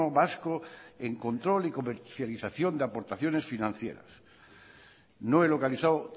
vasco en control y comercialización de aportaciones financieras no he localizado